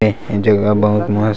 झोला बहुत मस्त--